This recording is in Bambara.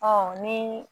Ɔ ni